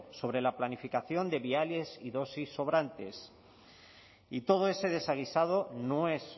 sobre la planificación de viales y dosis sobrantes y todo ese desaguisado no es